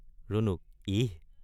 ৰুণুক—ইহ্।